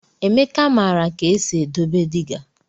Emeka maara ka esi edobe dịga.